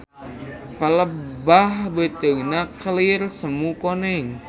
Palebah beuteungna kelir semu koneng.